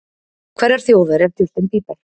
Hverrar þjóðar er Justin Bieber?